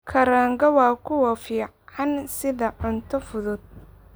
Kaaranga waa kuwo fiican sida cunto fudud.